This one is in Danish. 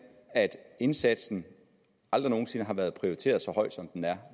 at indsatsen aldrig nogen sinde har været prioriteret så højt som den er